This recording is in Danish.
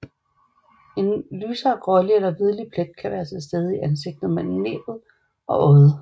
En lysere grålig eller hvidlig plet kan være til stede i ansigtet mellem næbbet og øjet